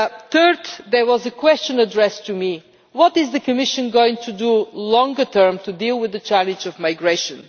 Thirdly, there was a question addressed to me what is the Commission going to do in the long term to deal with the challenge of migration?